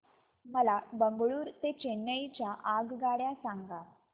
मला बंगळुरू ते चेन्नई च्या आगगाड्या सांगा